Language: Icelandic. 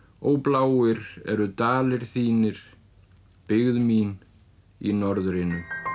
ó bláir eru dalir þínir byggð mín í norðrinu